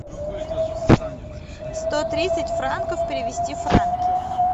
сто тридцать франков перевести в франки